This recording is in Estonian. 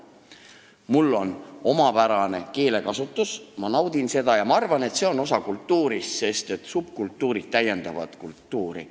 Mul on omapärane keelekasutus, ma naudin seda ja ma arvan, et see on osa kultuurist, sest subkultuurid täiendavad kultuuri.